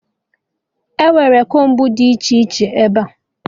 Enwere kombu dị iche iche ebea